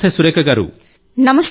నమస్తే సురేఖ గారూ